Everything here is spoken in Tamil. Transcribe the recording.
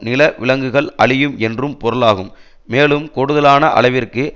நில விலங்குகள் அழியும் என்றும் பொருளாகும் மேலும் கூடுதலான அளவிற்கு